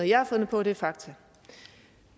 jeg har fundet på det er fakta